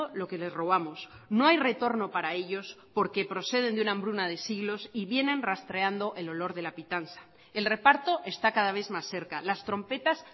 lo que les robamos no hay retorno para ellos porque proceden de una hambruna de siglos y vienen rastreando el olor de la pitanza el reparto está cada vez más cerca las trompetas